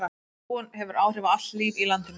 Trúin hefur áhrif á allt líf í landinu.